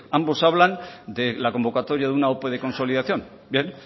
ambos hablan de la convocatoria de una ope de consolidación bien